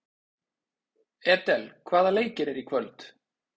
Edel, hvaða leikir eru í kvöld?